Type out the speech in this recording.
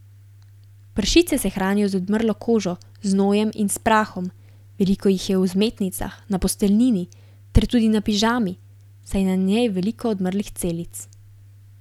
Pršice se hranijo z odmrlo kožo, znojem in s prahom, veliko jih je v vzmetnicah, na posteljnini ter tudi na pižami, saj je na njej veliko odmrlih celic.